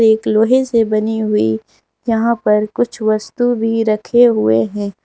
एक लोहे से बनी हुई यहां पर कुछ वस्तु भी रखे हुए हैं।